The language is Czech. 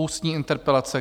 Ústní interpelace